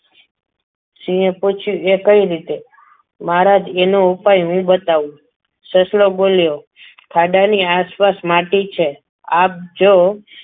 સિંહે પૂછ્યું એ કેવી રીતે મહારાજ એનો ઉપાય હું બતાવું સસલો બોલ ખાદાની આસપાસ માટી છે આપ જો